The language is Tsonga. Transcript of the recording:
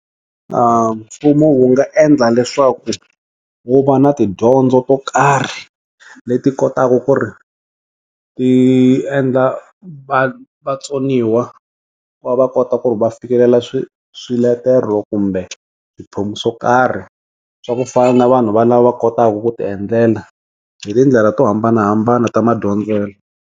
Mfumo wu nga endla leswaku wu va na tidyondzo to karhi leti kotaka ku ri ti endla va va vatsoniwa va va kota ku va fikelela swi swiletelo kumbe swo karhi swa ku fana na vanhu va lava kotaku ku ti endlela hi tindlela to hambanahambana ta ma dyondzela.